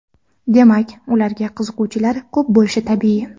Demak, ularga qiziquvchilar ko‘p bo‘lishi tabiiy.